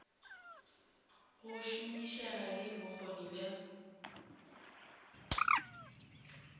go šomišega le bokgoni bja